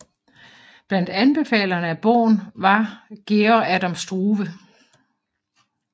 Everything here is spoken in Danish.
Blandt anbefalerne af bogen var Georg Adam Struve